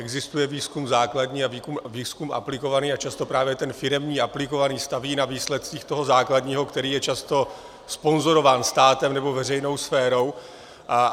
Existuje výzkum základní a výzkum aplikovaný a často právě ten firemní, aplikovaný, staví na výsledcích toho základního, který je často sponzorován státem nebo veřejnou sférou.